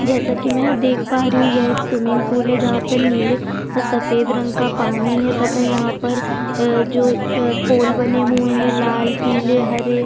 जैसा की मै देख पा रही हूँ की यह स्विमिंग पुल है जहां पे नीले जो सफ़ेद रंग का पानी है तथा यहाँ पर जो यह जो पोल बने हुए है लाल पीला हरे--